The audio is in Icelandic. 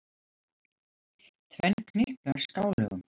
Tvenn knippi af skálögum.